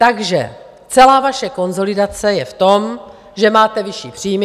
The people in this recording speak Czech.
Takže celá vaše konsolidace je v tom, že máte vyšší příjmy.